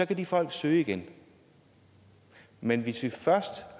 kan de folk søge igen men hvis vi først